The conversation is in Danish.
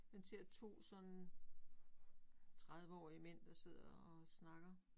Man ser 2 sådan 30 årige mænd der sidder og snakker